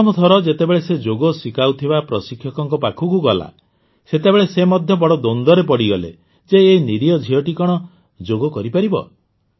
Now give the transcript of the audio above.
ପ୍ରଥମ ଥର ଯେତେବେଳେ ସେ ଯୋଗ ଶିଖାଉଥିବା ପ୍ରଶିକ୍ଷକଙ୍କ ପାଖକୁ ଗଲା ସେତେବେଳେ ସେ ମଧ୍ୟ ବଡ଼ ଦ୍ୱନ୍ଦ୍ୱରେ ପଡ଼ିଗଲେ ଯେ ଏଇ ନିରୀହ ଝିଅଟି କଣ ଯୋଗ କରିପାରିବ